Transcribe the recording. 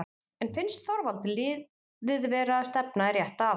En finnst Þorvaldi liðið vera að stefna í rétta átt?